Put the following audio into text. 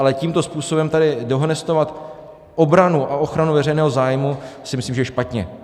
Ale tímto způsobem tady dehonestovat obranu a ochranu veřejného zájmu, si myslím, že je špatně.